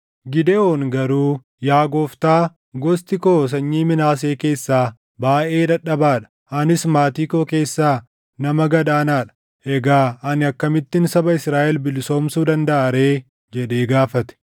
Gidewoon garuu, “Yaa Gooftaa, gosti koo sanyii Minaasee keessaa baayʼee dadhabaa dha; anis maatii koo keessaa nama gad aanaa dha. Egaa ani akkamittin saba Israaʼel bilisoomsuu dandaʼa ree?” jedhee gaafate.